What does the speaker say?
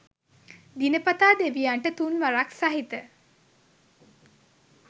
දිනපතා දෙවියන්ට තුන් වරක් සහිත